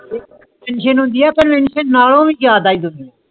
tension ਹੋਂਦੀ ਆ ਪਾਰ ਨਾਲੋਂ ਯਾਦ ਆਈ ਦੋ